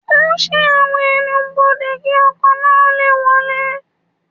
Ó ṣí àwọn ẹ́nubọdè, kí ọkọ̀ náà lè wọlé.